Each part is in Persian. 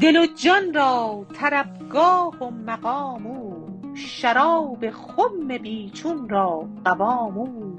دل و جان را طربگاه و مقام او شراب خم بی چون را قوام او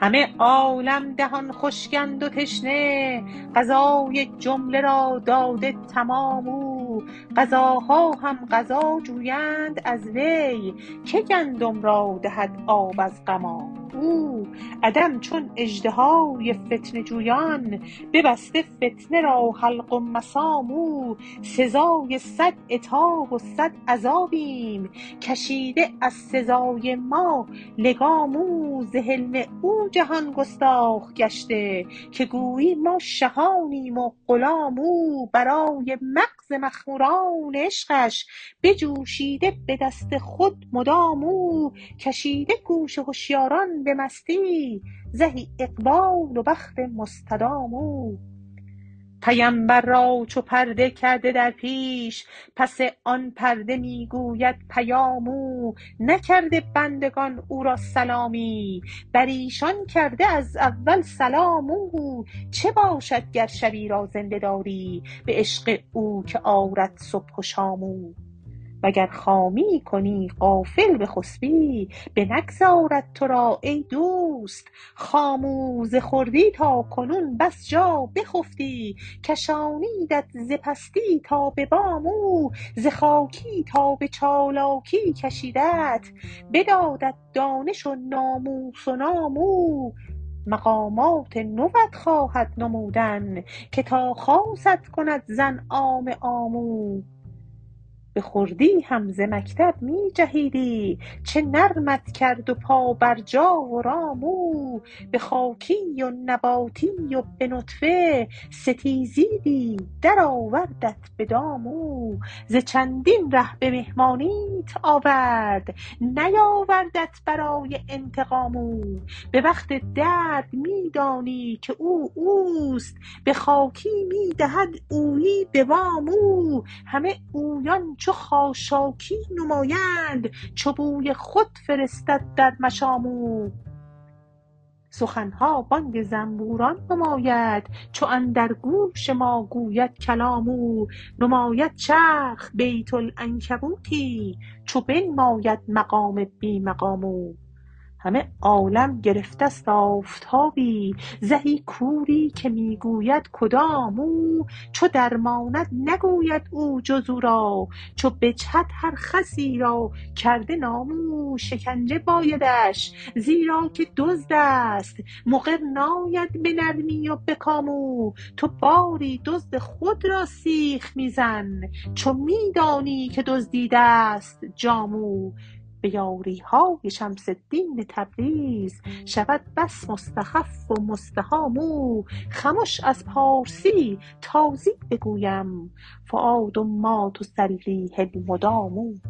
همه عالم دهان خشکند و تشنه غذای جمله را داده تمام او غذاها هم غذا جویند از وی که گندم را دهد آب از غمام او عدم چون اژدهای فتنه جویان ببسته فتنه را حلق و مسام او سزای صد عتاب و صد عذابیم کشیده از سزای ما لگام او ز حلم او جهان گستاخ گشته که گویی ما شهانیم و غلام او برای مغز مخموران عشقش بجوشیده به دست خود مدام او کشیده گوش هشیاران به مستی زهی اقبال و بخت مستدام او پیمبر را چو پرده کرده در پیش پس آن پرده می گوید پیام او نکرده بندگان او را سلامی بر ایشان کرده از اول سلام او چه باشد گر شبی را زنده داری به عشق او که آرد صبح و شام او وگر خامی کنی غافل بخسپی بنگذارد تو را ای دوست خام او ز خردی تا کنون بس جا بخفتی کشانیدت ز پستی تا به بام او ز خاکی تا به چالاکی کشیدت بدادت دانش و ناموس و نام او مقامات نوت خواهد نمودن که تا خاصت کند ز انعام عام او به خردی هم ز مکتب می جهیدی چه نرمت کرد و پابرجا و رام او به خاکی و نباتی و به نطفه ستیزیدی درآوردت به دام او ز چندین ره به مهمانیت آورد نیاوردت برای انتقام او به وقت درد می دانی که او او است به خاکی می دهد اویی به وام او همه اویان چو خاشاکی نمایند چو بوی خود فرستد در مشام او سخن ها بانگ زنبوران نماید چو اندر گوش ما گوید کلام او نماید چرخ بیت العنکبوتی چو بنماید مقام بی مقام او همه عالم گرفته ست آفتابی زهی کوری که می گوید کدام او چو درماند نگوید او جز او را چو بجهد هر خسی را کرده نام او شکنجه بایدش زیرا که دزد است مقر ناید به نرمی و به کام او تو باری دزد خود را سیخ می زن چو می دانی که دزدیده ست جام او به یاری های شمس الدین تبریز شود بس مستخف و مستهام او خمش از پارسی تازی بگویم فؤاد ما تسلیه المدام